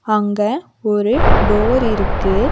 அங்க ஒரு டோர் இருக்கு.